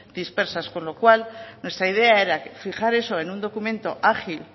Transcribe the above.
dispersas con lo cual nuestra idea era fijar eso en un documento ágil